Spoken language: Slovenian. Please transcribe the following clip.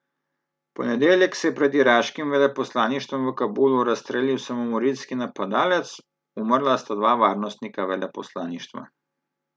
V ponedeljek se je pred iraškim veleposlaništvom v Kabulu razstrelil samomorilski napadalec, umrla sta dva varnostnika veleposlaništva.